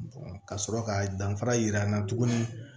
ka sɔrɔ ka danfara yira n na tuguni